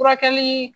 Furakɛli